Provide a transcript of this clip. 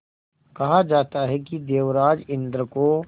कहा जाता है कि देवराज इंद्र को